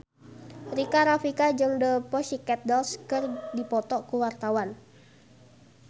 Rika Rafika jeung The Pussycat Dolls keur dipoto ku wartawan